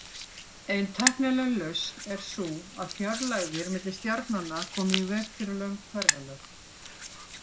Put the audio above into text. Ein tæknileg lausn er sú að fjarlægðir milli stjarnanna komi í veg fyrir löng ferðalög.